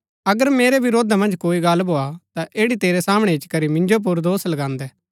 अगर मेरै वरोधा मन्ज कोई गल्ल भोआ ता ऐड़ी तेरै सामणै इच्ची करी मिन्जो पुर दोष लगान्दै